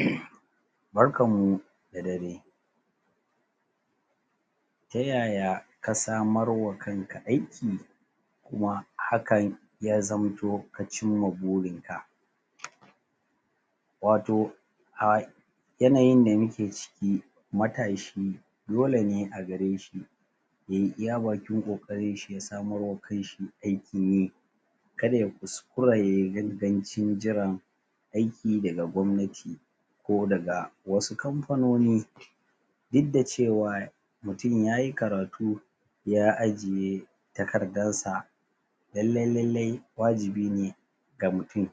Umm barkan mu da dare ta yaya ka samarwa kanka aiki kuma hakan ya zamto ka cimma burinka wato a yanayin da muke ciki matashi dole ne a gare shi ya yi iya bakin ƙoƙarinshi ya samarwa kanshi aikin yi kar ya kuskura ya yi gangancin jiran aiki daga gwamnati ko daga wasu kamfanoni duk da cewa mutum ya yi karatu ya ajiye takardarsa lallai-lallai wajibi ne ga mutum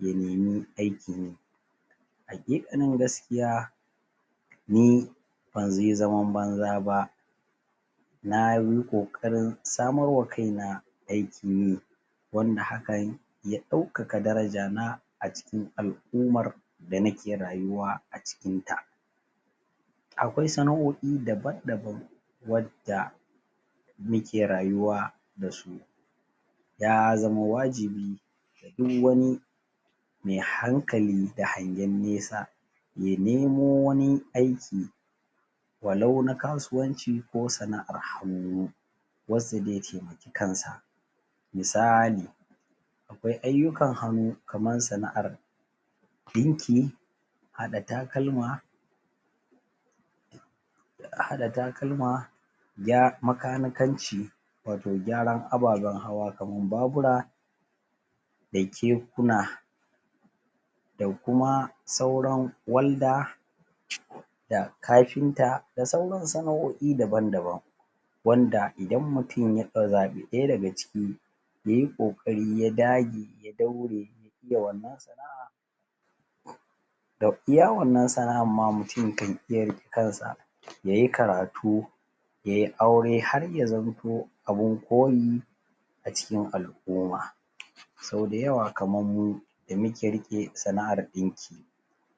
ya nemi aikin yi haƙiƙanin gaskiya ni ban ze zaman banza ba na yi ƙoƙarin samarwa kaina aikin yi wanda hakan ya ɗaukaka darajana a cikin al'umar da nake rayuwa a cikinta akwai sana'o'i daban-daban wadda muke rayuwa da su ya zama wajibi duk wani me hankali da hangen nesa ya nemo wani aiki walau na kasuwanci ko sana'ar hannu wacce ze temaki kansa misali akwai ayyukan hannu kaman sana'ar ɗinki haɗa takalma a haɗa takalma ya makanikanci wato gyaran ababen hawa kaman babura da kekuna da kuma sauran walda da kafinta da sauran sana'o'i daban-daban wanda idan mutum ya zaɓi ɗaya daga ciki ya yi ƙoƙari ya dage ya daure ya iya wannan sana'a da iya wannan sana'an ma mutum kan iya riƙe kansa ya yi karatu ya yi aure har zamto abin koyi a cikin al'uma so da yawa kaman mu da muke riƙe sana'ar ɗinki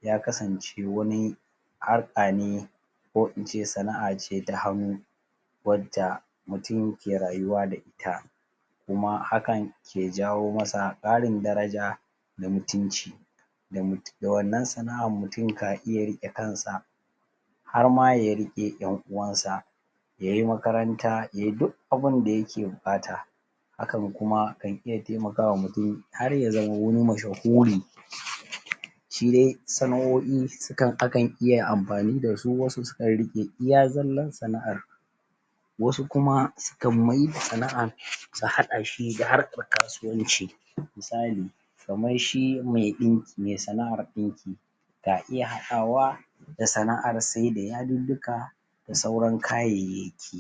ya kasance wani harka ne ko ince sana'a ce ta hannu wadda mutum ke rayuwa da ita kuma hakan ke jawo masa ƙarin daraja da mtunci da wannan sana'an mutum ka iya riƙe kansa har ya riƙe ƴan uwansa ya yi makaranta ya yi duk abin da yake buƙata hakan kuma kan iya temakawa mutum har ya zama wani mashahuri shi de sana'o'i su kan akan iya amfani da su wasu su kan riƙe iya zallan sana'ar wasu kuma su kan maida sana'an su haɗa shi da harkar kasuwanci misali kamar shi me ɗinki me sana'ar ɗinki ka iya haɗawa da sana'ar saida yadiddika da sauran kayayyaki